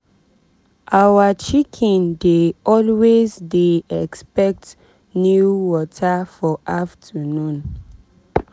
our chicken dey always dey expect new water for afternoon.